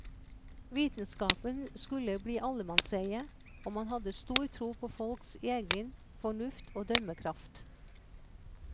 Vitenskapen skulle bli allemannseie, og man hadde stor tro på folks egen fornuft og dømmekraft.